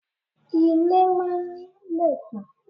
Ilé máa ń ní lẹ̀kùn.